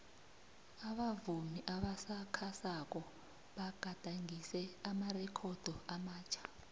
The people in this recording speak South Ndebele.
abavumi abasakhasako bagadangise amarekhodo amatjha